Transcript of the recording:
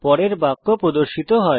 পরের বাক্য প্রদর্শিত হয়